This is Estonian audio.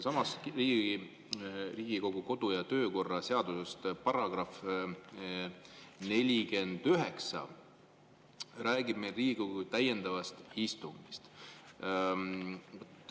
Riigikogu kodu- ja töökorra seaduse § 49 räägib Riigikogu täiendavast istungist.